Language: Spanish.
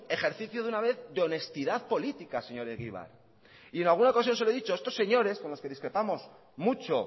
ejercicio de una vez de honestidad política señor egibar y en alguna ocasión se lo he dicho estos señores con los que discrepamos mucho